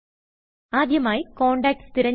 ആദ്യമായി കോണ്ടാക്ട് തിരഞ്ഞെടുക്കുക